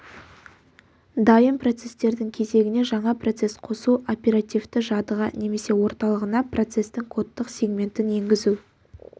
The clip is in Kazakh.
дайын процестердің кезегіне жаңа процесс қосу оперативті жадыға немесе орталығына процестің кодтық сегментін енгізу